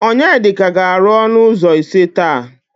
Onyedika ga-arụ ọnụ ụzọ ise taa.